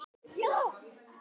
Þetta stendur mér því nærri.